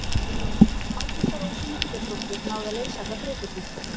Ágústa Rós Ingibjörnsdóttir náði að leysa allar þrautirnar.